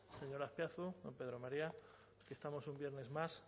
señor azpiazu don pedro maría estamos un viernes más